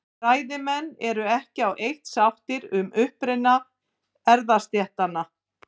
Fræðimenn eru ekki á eitt sáttir um uppruna erfðastéttanna.